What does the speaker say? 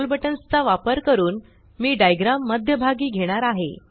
scroll buttons चा वापर करून मी डाइग्राम मध्य भागी घेणार आहे